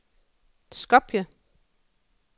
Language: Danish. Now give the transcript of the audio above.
Skopje